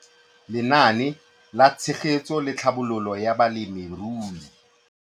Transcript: Lenaane la Tshegetso le Tlhabololo ya Balemirui.